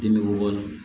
Den bɛ wolo